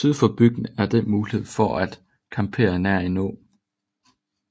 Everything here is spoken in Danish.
Syd for bygden er der mulighed for at campere nær en å